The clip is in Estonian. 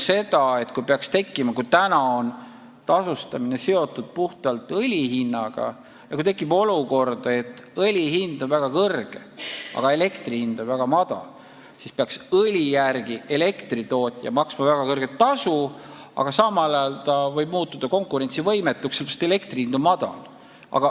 Praegu on tasustamine seotud üksnes õli hinnaga ja kui tekib olukord, et õli hind on väga kõrge, aga elektri hind on väga madal, siis peaks ka elektritootja maksma väga suurt tasu ja võiks tekkida oht, et ta muutub konkurentsivõimetuks, kuna elektri hind on madal.